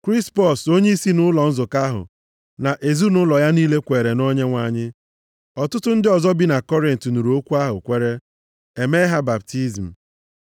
Krispọs onyeisi nʼụlọ nzukọ ahụ na ezinaụlọ ya niile kweere nʼOnyenwe anyị. Ọtụtụ ndị ọzọ bi na Kọrint nụrụ okwu ahụ, kwere, e mee ha baptizim.